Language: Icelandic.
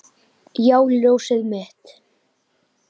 Já, ljósið mitt.